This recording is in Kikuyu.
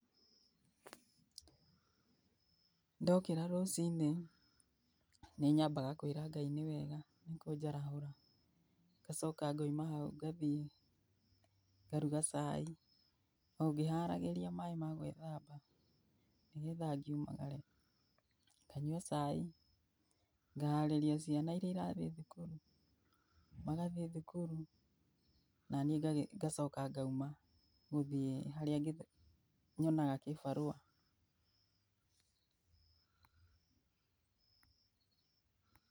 Ndokĩra rucinĩ, nĩ nyambaga kwĩra Ngai nĩ wega nĩ kũnjarahũra. Ngacoka ngoima hau ngathiĩ ngaruga cai, o ngĩharagĩria maaĩ ma gwĩthamba, nĩgetha ngiumagare. Nganyua cai, ngaharĩria ciana iria irathiĩ thukuru. Magathiĩ thukuru naniĩ ngacoka ngauma, gũthiĩ harĩa nyonaga kĩbarũa.